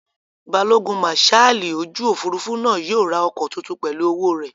Balógun màsáàlì ojú òfurufú náà yóò ra ọkọ̀ tuntun pẹ̀lú owó rẹ̀